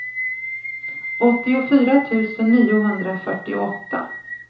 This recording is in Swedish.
åttiofyra tusen niohundrafyrtioåtta